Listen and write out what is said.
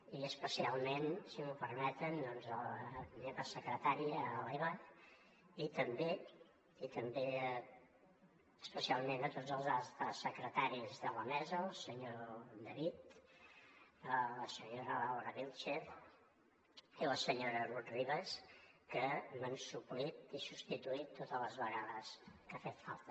i especialment si m’ho permeten a la meva secretària a l’eva i també especialment a tots els secretaris de la mesa el senyor david la senyora laura vílchez i la senyora rut ribas que m’han suplert i substituït totes les vegades que ha fet falta